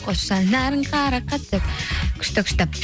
қош жанарың қарақат деп күшті күшті